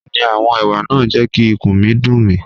Bẹẹni, awọn ewa naa n jẹ ki ikun mi dun mi.